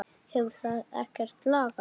Hefur það ekkert lagast?